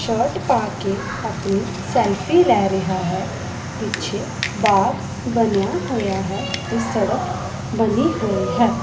Shirt ਪਾ ਕੇ ਆਪਣੀ ਸੈਲਫੀ ਲੈ ਰਿਹਾ ਹੈ ਪਿੱਛੇ ਬਾਗ ਬਣਿਆ ਹੋਇਆ ਹੈ ਤੇ ਸੜਕ ਬਣੀ ਹੋਈ ਹੈ।